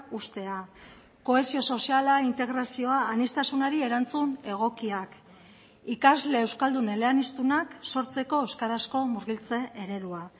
uztea kohesio soziala integrazioa aniztasunari erantzun egokiak ikasle euskaldun eleaniztunak sortzeko euskarazko murgiltze eredua